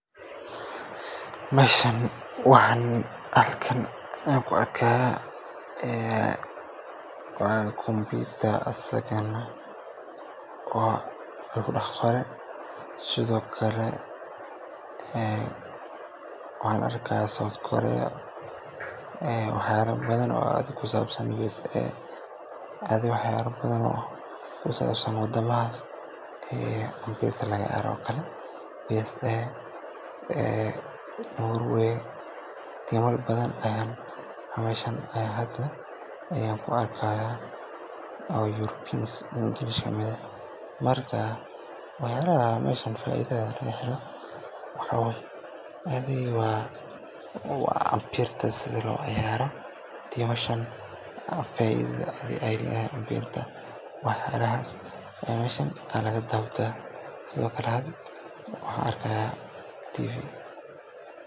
Meeshan waxaan ku arkaa asagane waa kombiyuutar lagu dhex qoray, sidoo kale waxyaalo badan oo ku saabsan isticmaalka kombiyuutarka ayaan ka arkaa. Waxaa ka mid ah barnaamijyo kala duwan, sida kuwa wax lagu qoro, kuwa xisaabaadka, iyo kuwa internet-ka lagu galo. Waxaa kale oo muuqata in la adeegsanayo si waxbarasho, shaqo iyo cilmi baaris ah. Dadka meesha jooga waxay u muuqdaan kuwo bartaya ama adeegsanaya kombiyuutarka si xirfadeysan, taasoo muujinaysa in meeshaan ay tahay goob tiknoolajiyadeed oo si wanaagsan loo agaasimay.